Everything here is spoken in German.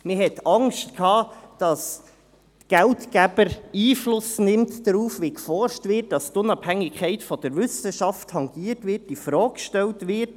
» Man hatte Angst, dass der Geldgeber Einfluss darauf nimmt, wie geforscht wird, dass die Unabhängig der Wissenschaft tangiert und infrage gestellt wird.